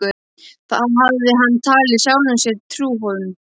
Það hafði hann talið sjálfum sér trú um.